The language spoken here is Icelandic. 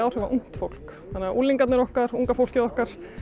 áhrif á ungt fólk þannig að unlingarnir okkar unga fólkið okkar